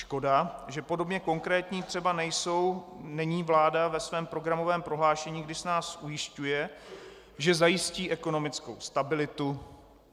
Škoda, že podobně konkrétní třeba není vláda ve svém programovém prohlášení, když nás ujišťuje, že zajistí ekonomickou stabilitu.